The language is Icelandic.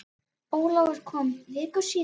Ólafur kom viku síðar.